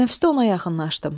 Tənəffüsdə ona yaxınlaşdım.